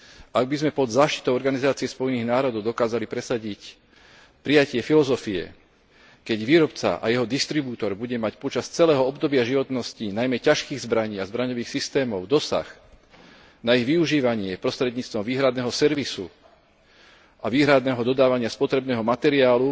Ak by sme pod záštitou Organizácie spojených národov dokázali presadiť prijatie filozofie, keď výrobca a jeho distribútor bude mať počas celého obdobia životnosti najmä ťažkých zbraní a zbraňových systémov dosah na ich využívanie prostredníctvom výhradného servisu a výhradného dodávania spotrebného materiálu